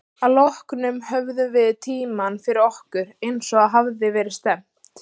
Að því loknu höfðum við tímann fyrir okkur, eins og að hafði verið stefnt.